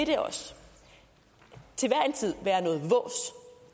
det også til hver